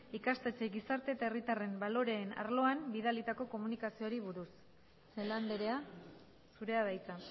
ikastetxeei gizarte eta herritarren baloreen arloan bidalitako komunikazioari buruz celaá andrea zurea da hitza